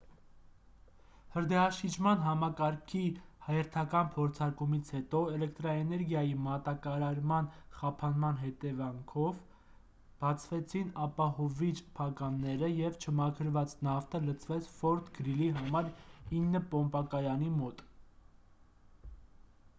հրդեհաշիջման համակարգի հերթական փորձարկումից հետո էլեկտրաէներգիայի մատակարման խափանման հետևանքով բացվեցին ապահովիչ փականները և չմաքրված նավթը լցվեց ֆորթ գրիլի համար 9 պոմպակայանի մոտ